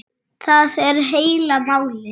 Það er heila málið!